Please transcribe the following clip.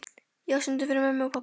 Já, stundum fyrir mömmu og pabba.